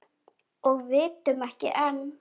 Og vitum ekki enn.